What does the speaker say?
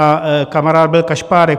A kamarád byl kašpárek.